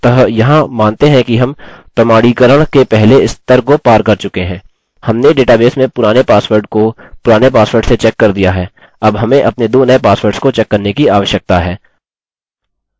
अतः यहाँ मानते हैं कि हम प्रमाणीकरण के पहले स्तर को पार कर चुके हैं हमने डेटाबेस में पुराने पासवर्ड को पुराने पासवर्ड से चेक कर दिया है अब हमें अपने दो नये पासवर्ड्स को चेक करने की आवश्यकता है